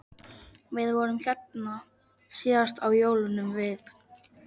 Við vorum hérna síðast á jólunum við